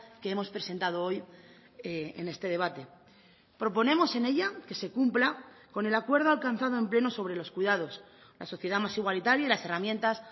que hemos presentado hoy en este debate proponemos en ella que se cumpla con el acuerdo alcanzado en pleno sobre los cuidados la sociedad más igualitaria y las herramientas